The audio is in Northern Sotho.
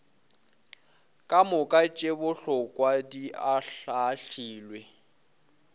kamoka tše bohlokwa di ahlaahlilwe